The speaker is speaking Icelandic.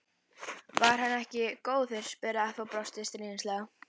Var hann ekki góður? spurði afi og brosti stríðnislega.